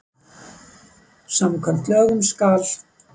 Samkvæmt lögum skal